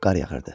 qar yağırdı.